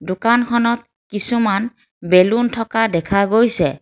দোকানখনত কিছুমান বেলুন থকা দেখা গৈছে।